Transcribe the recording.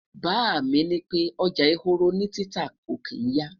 bá mí ní pẹ, ọjà ehoro ni títà kò kin ya